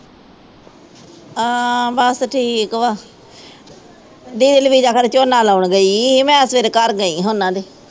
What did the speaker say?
ਹਾਂ ਬਸ ਠੀਕ ਵਾ ਫਿਰ ਝੋਨਾ ਲਾਉਣ ਗਈ ਮੈਂ ਸਵੇਰ ਘਰ ਗਈ ਉਹਨਾਂ ਦੇ।